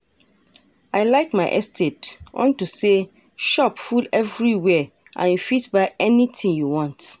I like my estate unto say shop full everywhere and you fit buy anything you want